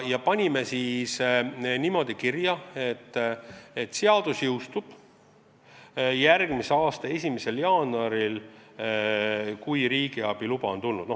Me panime niimoodi kirja, et seadus jõustub pärast riigiabi loa saamist järgmise aasta 1. jaanuaril.